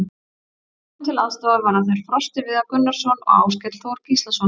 Honum til aðstoðar verða þeir Frosti Viðar Gunnarsson og Áskell Þór Gíslason.